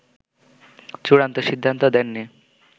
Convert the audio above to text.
চুড়ান্ত সিদ্ধান্ত দেননি